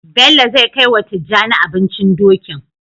Bello zai kai wa tijjani abincin Dokin